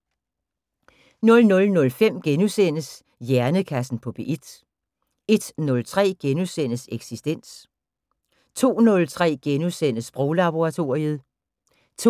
00:05: Hjernekassen på P1 * 01:03: Eksistens * 02:03: Sproglaboratoriet * 02:30: